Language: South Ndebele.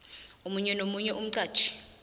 omunye nomunye umqatjhi